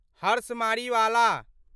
Harsh Mariwala